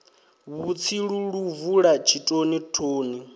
vhutsilu lu bvula tshitoni thoni